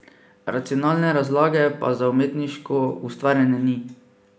Racionalne razlage pa za umetniško ustvarjanje ni.